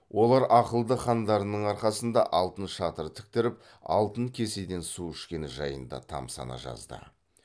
олар ақылды хандарының арқасында алтын шатыр тіктіріп алтын кеседен су ішкені жайында тамсана жазды